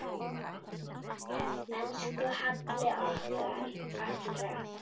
Elsku Halli okkar allra.